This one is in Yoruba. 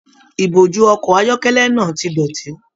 Ìbojú ọkọ ayọkẹlẹ náà tí dọ́tì.